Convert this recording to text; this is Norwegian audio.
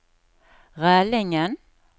Rælingen